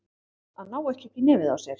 Að ná ekki upp í nefið á sér